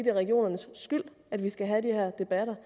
er regionernes skyld at vi skal have de her debatter